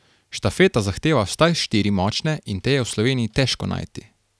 Štafeta zahteva vsaj štiri močne in te je v Sloveniji težko najti.